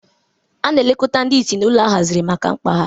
A na-elekọta ndị ìsì n'ụlọ a haziri maka mkpa ha.